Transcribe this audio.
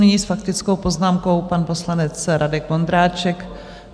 Nyní s faktickou poznámkou pan poslanec Radek Vondráček.